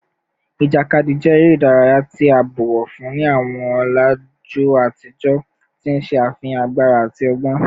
Ijakadi jẹ ere idaraya ti a bọwọ fun ni awọn ọlaju atijọ, ti n ṣe afihan agbara ati ọgbọn